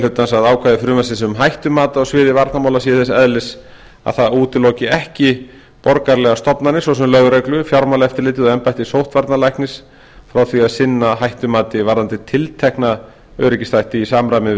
hlutans að ákvæði frumvarpsins um hættumat á sviði varnarmála sé þess eðlis að það útiloki ekki borgaralegar stofnanir svo sem lögreglu fjármálaeftirlitið og embætti sóttvarnalæknis frá því að sinna hættumati varðandi tiltekna öryggisþætti í samræmi við